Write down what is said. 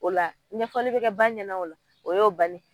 O la ɲɛfɔli be kɛ ba ɲɛna o la, o y'o bannen ye.